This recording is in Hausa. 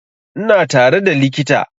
Ina tare da likita